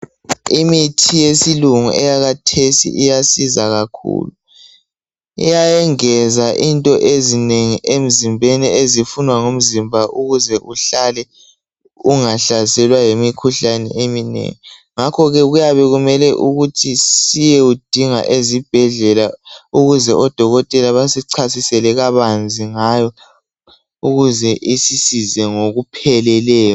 Imithi yesilungu eyakhathesi iyasiza kakhulu iyengeza into ezinengi emzimbeni ezifunwa ngumzimba ukuze uhlale ungahlaselwa yimikhuhlane eminengi ngakhoke kuyabe kumele ukuthi siyeyidinga ezibhedlela ukuze odokotela basichasisele kabanzi ngayo ukuze isisize ngokupheleleyo.